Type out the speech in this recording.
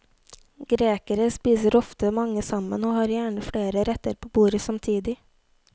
Grekere spiser ofte mange sammen, og har gjerne flere retter på bordet samtidig.